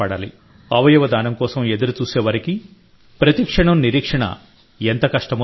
అవయవ దానం కోసం ఎదురుచూసేవారికి ప్రతి క్షణం నిరీక్షణ ఎంత కష్టమో తెలుసు